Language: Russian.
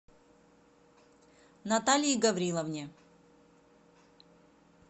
наталии гавриловне